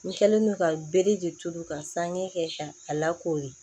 N kɛlen don ka bere de turu ka sange kɛ ka a lakori